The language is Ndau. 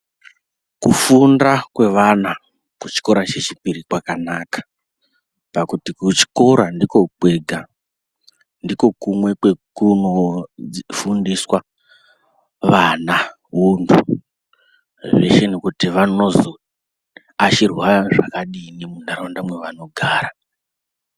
Kufunda kwevana kuchikora chechipiri kwakanaka pakuti kuchikora ndiko kwega, ndiko kumwe kwekunofundiswa vana untu, zveshe nekuti vanozoashirwa zvakadini muntaraunda dzevanogara.